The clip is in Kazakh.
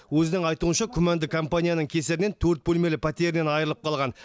өзінің айтуынша күмәнді компанияның кесірінен төрт бөлмелі пәтерінен айырылып қалған